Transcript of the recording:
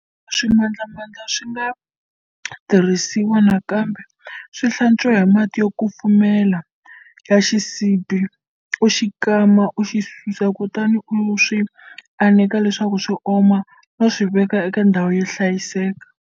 Loko swimandlamandla swi nga tirhisiwa nakambe, swi hlantswi hi mati yo kumfumela ya xisibi, u xi kama, u swi susa, kutani u swi aneka leswaku swi oma no swi veka eka ndhawu yo hlayisaka.